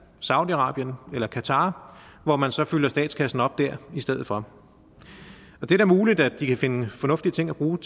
saudi arabien eller qatar hvor man så fylder statskassen op dér i stedet for det er da muligt at de kan finde fornuftige ting at bruge